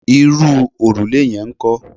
Irú òrùlé yẹn ńkọ́?